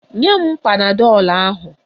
Nye m panadọl ahụ!